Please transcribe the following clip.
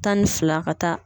Tan ni fila ka taa